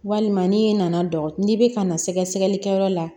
Walima n'i nana dɔgɔ n'i bɛ ka na sɛgɛsɛgɛli kɛ yɔrɔ la